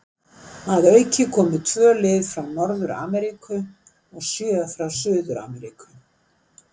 Að auki komu tvö lið frá Norður-Ameríku og sjö frá Suður-Ameríku.